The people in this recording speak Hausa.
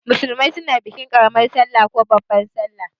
Musulmai suna bikin karaman sallah ko babban sallah.